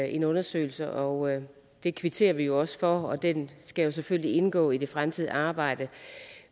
en undersøgelse og det kvitterer vi jo også for og den skal selvfølgelig indgå i det fremtidige arbejde